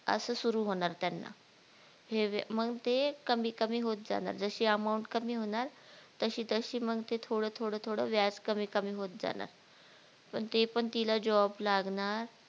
असं सुरु होणार त्यांना हे मग ते कमी कमी होत जाणार जशी amount कमी होणार तशी तशी मग ते थोडं थोडं थोडं व्याज कमी कमी होत जाणार पण ते पण तिला job लागणार